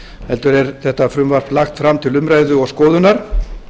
heldur er þetta frumvarp lagt fram til umræðu og skoðunar